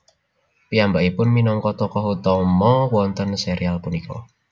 Piyambakipun minangka tokoh utama wonten serial punika